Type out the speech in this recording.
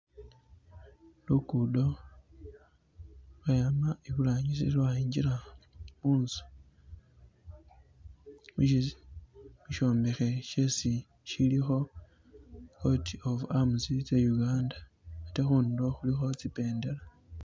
Lukudo lwayama iburangisi lwayingila munzu , mushombekhe shesi shilikho coat of arms tse Uganda ate khundulo khulikho tsi bendela